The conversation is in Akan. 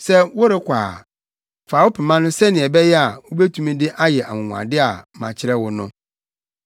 Sɛ worekɔ a, fa wo pema no sɛnea ɛbɛyɛ a, wubetumi de ayɛ anwonwade a makyerɛ wo no.”